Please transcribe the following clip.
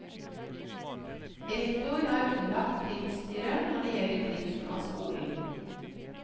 Rektor er underlagt driftsstyret når det gjelder driften av skolen.